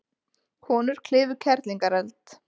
Konur klifu Kerlingareld